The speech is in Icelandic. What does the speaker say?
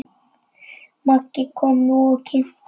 Maggi kom nú og kynnti.